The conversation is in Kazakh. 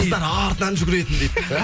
қыздар артынан жүгіретін дейді